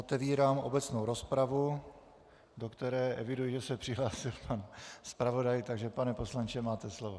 Otevírám obecnou rozpravu, do které eviduji, že se přihlásil pan zpravodaj, takže pane poslanče, máte slovo.